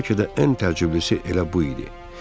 Bəlkə də ən təcrübəlisi elə bu idi.